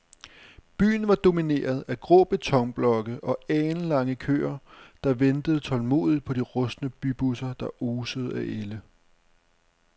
Byen var domineret af grå betonblokke og alenlange køer, der ventede tålmodigt på de rustne bybusser, der osede af ælde.